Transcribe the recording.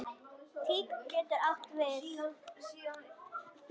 Tign getur átt við